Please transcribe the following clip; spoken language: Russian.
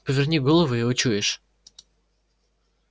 поверни голову и учуешь